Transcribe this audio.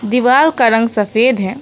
दीवाल का रंग सफेद है।